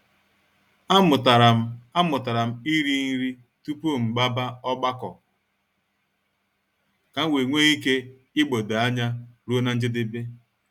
A mụtara m A mụtara m ịrị nri tupu m gbaba ọgbakọ kam wee nwee ike igbodo anya ruo na njedebe.